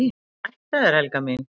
"""EN SÆTT AF ÞÉR, HELGA MÍN!"""